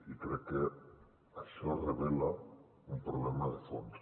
i crec que això revela un problema de fons